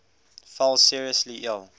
fell seriously ill